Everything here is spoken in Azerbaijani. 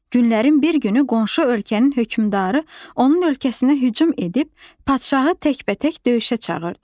Günlərin bir günü qonşu ölkənin hökmdarı onun ölkəsinə hücum edib, padşahı təkbətək döyüşə çağırdı.